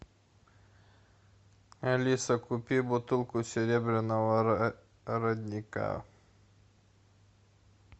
алиса купи бутылку серебряного родника